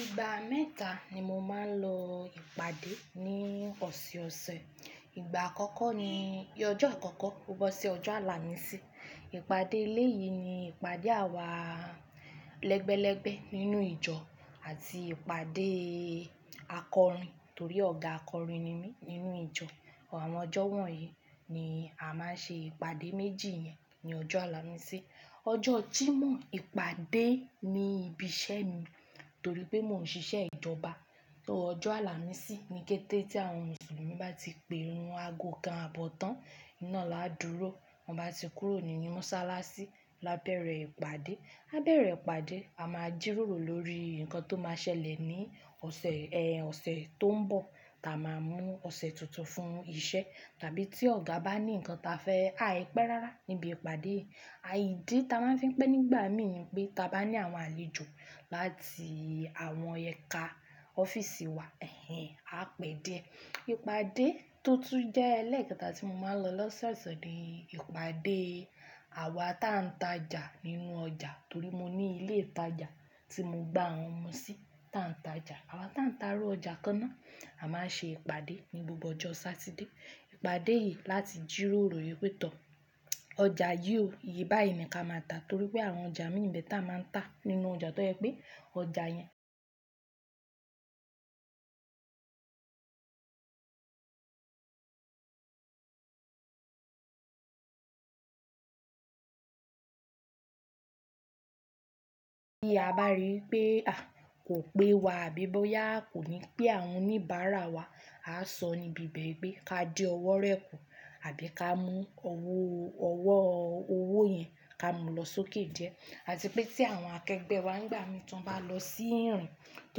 Ìgbà mẹ́ta ni mo máa ń lọ ìpàdé ní ọ̀sèọ̀sẹ̀. Ìgbà àkọ́kọ́ ni ọjọ́ àkọ́kọ́, to bo ṣi ọjọ́ àlàmísì. Ìpàdé ilé yìí ni ìpàdé àwa lẹ́gbẹ́lẹ́gbẹ́ nínú ìjọ àti ìpàdé akọrin torí ọ̀gá akọrin ni mí nínú ìjọ. Àwọn ọjọ́ wọ̀nyí ni a máa ń ṣe ìpàdé méjì yẹn ní ọjọ́ àlàmísì. Ọjọ́ Jímọ̀ ìpàdé ní ibi iṣẹ́ mi torí pé mò ń ṣiṣẹ́ ìjọba. Torí ọjọ́ àlàmísì ní kété tí àwọn Mùsùlùmí bá ti pe irun aago kan àbọ̀ tán naá la dúró, tọ́n bá ti kúrò ní Mọ́sálásí la bẹ̀rẹ̀ ìpàdé. A bẹ̀rẹ̀ ìpàdé, a máa jíròrò lórí nǹkan tó máa ṣẹlẹ̀ ní ọ̀sẹ̀, ẹ́, ọ̀sẹ̀ tó ń bọ̀, ta máa mú ọ̀sẹ̀ tuntun fún iṣẹ́ tàbí tí ọ̀gá bá ní nǹkan ta fẹ́ ha ìpẹ́ rárá níbi ìpàdé. À ìdí ta máa ń fi pẹ́ nígbà mi pé ta bá ní àwọn àlejò láti àwọn ẹka ọ́fíìsì wa, ẹ́, a pẹ́ dié. Ìpàdé tó tún jẹ́ ẹlẹ́ẹ̀kẹta tí mo máa ń lọ lọ́sẹ̀ọ̀sẹ̀ ni ìpàdé àwa tá ń tajà nínú ọjà torí mo ní ilé ìtajà tí mo gbà àwọn ọmọ sí tá ń tajà. Àwa tá ń ta irú ọjà kan náà a máa ṣe ìpàdé ní gbogbo ọjọ́ Saturday. Ìpàdé yìí láti jírórò pé tọ́ ọjà yíò, ìye bayii ni ka máa tà torí pé àwọn ọjà mi nìbẹ̀ ta máa ń tà nínú ọjà tó jẹ pé ọjà yẹn. Bí a bá rí pé, à, kò pé wa, àbí bóyá kò ní pé àwọn oníbàárà wa, a sọ níbi bẹ́ẹ̀ pé ká di ọwọ́ rẹ̀ kù àbí ká mú ọwọ́, ọwọ́ owó yẹn ká mú lọ sókè die. Àti pé tí àwọn akẹgbẹ́ wa nígbà mìí tàn bá lọ sí ìrìn tó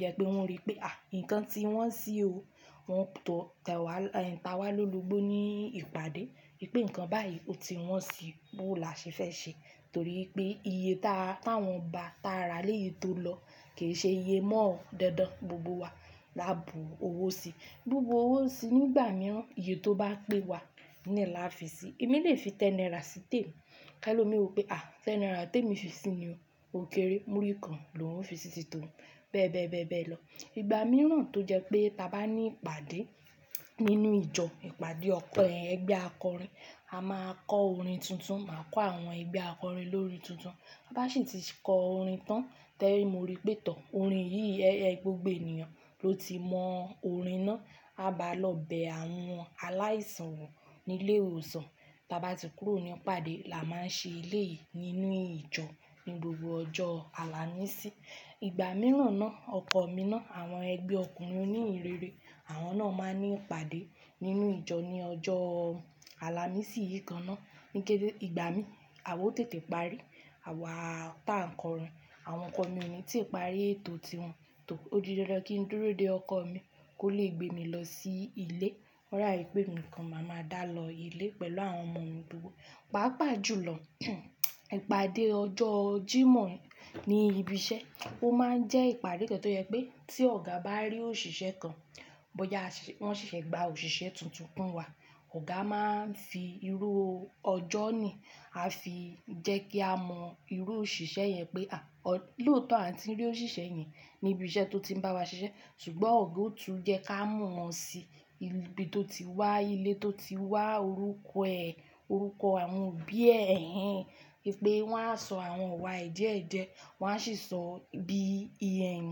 jẹ pé wọ́n rí pé, à, nǹkan tí wọ́n ṣí o, wọn tọ̀ tẹ́ wa, ta wá lólogbó ní ìpàdé pé nǹkan báyìí kò ti wọ́n si bó là ṣe fẹ́ ṣe torí pé iye ta, táwọn ba, ta rà lẹ́yìi tó lọ kì í ṣe iye mọ́ ọ̀ọ́ dandan. Gbogbo wa la bu owó sí. Bubu owó sí nígbà mìíràn iye tó bá pé wa nìyẹn la fi sí. Èmi lè fi tenara sítèènù ká lọ mi wí pé à, tenara tí èmi fi sí ní o kéré, múrí kan lò ń fi sí sì tò ó bẹ́ẹ̀ bẹ́ẹ̀ bẹ́ẹ̀ lọ. Ìgbà mìíràn tó jẹ pé ta bá ní ìpàdé nínú ìjọ ìpàdé ọpe ẹgbẹ́ akọrin, a máa kọ orin tuntun, máa kọ àwọn ẹgbẹ́ akọrin lórí orin tuntun. Bá sì ti kọ orin tán tẹ́rí mo rí pé tọ́ orin yìí ẹ́, ẹ gbogbo ènìyàn ló ti mọ orin náà, a bá lọ bẹ àwọn aláìsàn wò ní ilé ìwòsàn. Ta bá ti kúrò ní ìpàdé la máa ṣe elé yìí nínú ìjọ ní gbogbo ọjọ́ àlàmísì. Ìgbà mìíràn náà ọkọ mi náà àwọn ẹgbẹ́ ọkùnrin oní ìrere, àwọn náà máa ní ìpàdé nínú ìjọ ní ọjọ́ àlàmísì yìí kan náà. Ní kété ìgbà mí, àwo tètè parí, àwa tá ń kọrin, àwọn ọkọ mi ò ní tí parí ètò tí wọn tò ó di dandan kí n dúró dé ọkọ mi kó lè gbé mi lọ sí ilé. Ó dà bi pé emi nikan máa ma dá lọ ilé pẹ̀lú àwọn ọmọ mi gbogbo. Pàápàá jùlọ ìpàdé ọjọ́ Jímọ̀ ní ibi iṣẹ́ ó máa ń jẹ́ ìpàdé kan tó jẹ pé tí ọ̀gá bá rí òṣìṣẹ́ kan, bóyá ṣe wọ́n ṣẹ̀ṣẹ̀ gba òṣìṣẹ́ tuntun kún wa, ọ̀gá máa ń fi irú ọjọ́ ni a fi jẹ́ kí a mọ irú òṣìṣẹ́ yẹn pé à, lóòtọ́ àti rí òṣìṣẹ́ yẹn ní ibi iṣẹ́ tó ti ń bá wa ṣiṣẹ́ ṣùgbọ́n ọ̀gá ó tún jẹ́ ká mọ̀ wọ́n sí ibi tó ti wá, ilé tó ti wá, orúkọ ẹ̀, orúkọ àwọn òbí ẹ̀, ẹ́, pé wọ́n á sọ àwọn wà ẹ́ diẹ́diẹ́, wọ́n á sì sọ bí i ẹ̀n,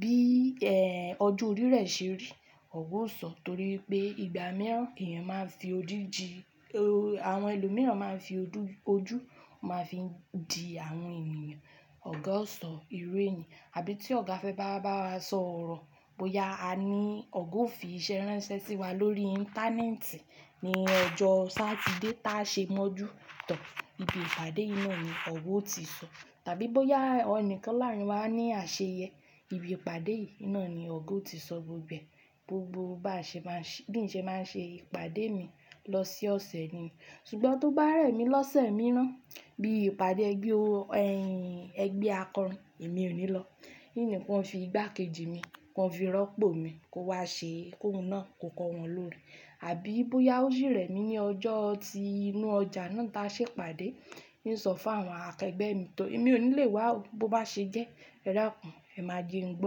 bí, ẹ́, ojo orí rẹ́ ṣe rí. Ọ̀gá ó sọ torí pé ìgbà mìíràn èèyàn máa ń fi ojú dí, o, àwọn ẹlòmíràn máa ń fi ojú, ojú máa ń fi ń di àwọn ènìyàn. Ọ̀gá ó sọ irú èèyàn. Àbí tí ọ̀gá fẹ́ bá wá bá wa sọ ọ̀rọ̀ bóyá a ní ọ̀gá ó fi iṣẹ́ ránṣẹ́ sí wa lórí íńtánẹ́ẹ̀tì ní ọjọ́ Saturday tá ṣé mọ́jú tán ibi ìpàdé yii ná ni ọ̀gá ó ti sọ. Tàbí bóyá ẹnìkan láàrín wa ní àṣeyẹ, ibi ìpàdé yìí náà ni ọ̀gá ó ti sọ gbogbo ẹ̀. Gbogbo bá ṣe máa ṣe, bí ń ṣe máa ń ṣe ìpàdé mi lọ sí ọ̀sẹ̀ ni. Ṣùgbọ́n tó bá rẹ̀ mí lọ́sẹ̀ mìíràn bí ìpàdé ẹgbẹ́ o, ẹ́, ẹgbẹ́ akọrin èmi ò ní lọ. Nìní wọn fi ìgbákejì mi, wọn fi rọ́pò mi kó wá ṣe ki oun náà kó kọ wọn lóòrin. Àbí bóyá ó sì rẹ̀ mí ní ọjọ́ tí inú ọjà náà taa ṣe ìpàdé, hun o sọ fún àwọn akẹgbẹ́ mi tó èmi ò ní lè wá bó bá ṣe jẹ́ ẹdakùn, ẹ̀má je n gbó.